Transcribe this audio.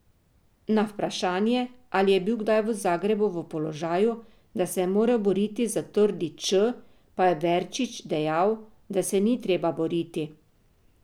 Na vprašanje, ali je bil kdaj v Zagrebu v položaju, da se je moral boriti za trdi č, pa je Verčič dejal, da se ni treba boriti.